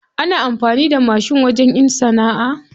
Ana amfani da mashin wajen in sana'a.